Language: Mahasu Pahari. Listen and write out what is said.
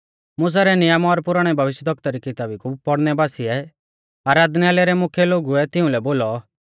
मुसा रै नियम और पुराणै भविष्यवक्ता री किताबी कु पौड़नै बासिऐ आराधनालय रै मुख्यै लोगुऐ तिउंलै बोलौ ओ भाईओ अगर तुमारै ज़िवा दी कुछ़ बूश आ लोगु कै बोलणै लै ता बोलौ